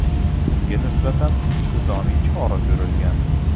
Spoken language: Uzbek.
Ungan nisbatan intizomiy chora ko‘rilgan.